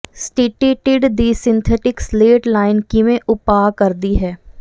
ਸਟੀਟੀਟੀਡ ਦੀ synthetic slate line ਕਿਵੇਂ ਉਪਾਅ ਕਰਦੀ ਹੈ